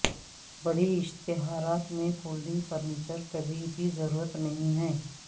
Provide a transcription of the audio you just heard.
بڑی اشتہارات میں فولڈنگ فرنیچر کبھی بھی ضرورت نہیں ہے